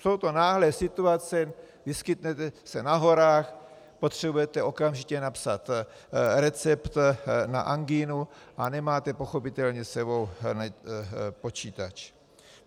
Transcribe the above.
Jsou to náhlé situace, vyskytnete se na horách, potřebujete okamžitě napsat recept na angínu a nemáte pochopitelně s sebou počítač.